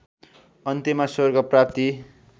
अन्त्यमा स्वर्ग प्राप्ति